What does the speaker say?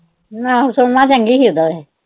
ਨਾ ਸੋਮਾ ਚੰਗੀ ਸੀ ਇਦਾਂ ਤੇ।